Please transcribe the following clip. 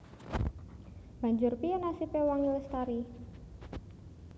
Banjur piyé nasibé Wangi Lestari